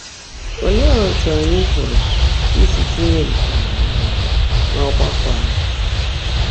‘Óleé ótú ányị́ pụ́rụ́ ísi tínyé nkè á n’ọ́rụ́ n’ọ́gbákwọ́ ányị́?’